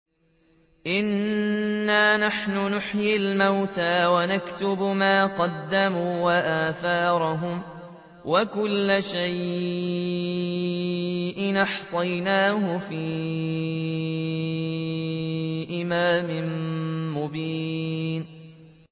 إِنَّا نَحْنُ نُحْيِي الْمَوْتَىٰ وَنَكْتُبُ مَا قَدَّمُوا وَآثَارَهُمْ ۚ وَكُلَّ شَيْءٍ أَحْصَيْنَاهُ فِي إِمَامٍ مُّبِينٍ